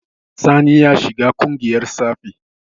Sani ya shiga ƙungiyar tsafi.